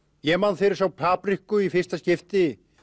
ég man þegar ég sá papriku í fyrsta skipti